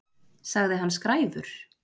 Sagði hann skræfur?